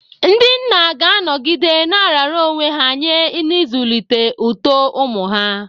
Ndị nna ga-anọgide na-arara onwe ha nye n'ịzụlite uto ụmụ ha.